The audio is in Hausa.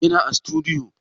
Yana a sutudiyo